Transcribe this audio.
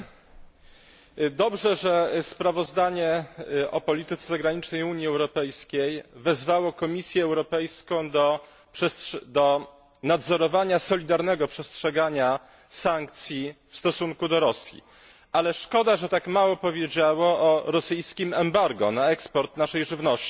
Panie Przewodniczący! Dobrze, że w sprawozdaniu o polityce zagranicznej Unii Europejskiej wezwano Komisję Europejską do nadzorowania solidarnego przestrzegania sankcji w stosunku do Rosji, ale szkoda, że tak mało powiedziano o rosyjskim embargu na eksport naszej żywności.